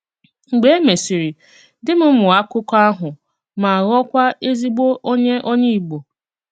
Mgbè é mèsịrị, dì m mụọ́ àkụkọ àhụ mà ghọọkwà èzìgbò ònyè ònyè Ìgbò.